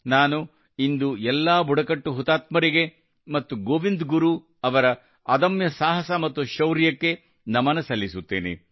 ನಾನು ಇಂದು ಎಲ್ಲಾ ಬುಡಕಟ್ಟು ಹುತಾತ್ಮರಿಗೆ ಮತ್ತು ಗೋವಿಂದ್ ಗುರು ಅವರ ಅದಮ್ಯ ಸಾಹಸ ಮತ್ತು ಶೌರ್ಯಕ್ಕೆ ನಮನ ಸಲ್ಲಿಸುತ್ತೇನೆ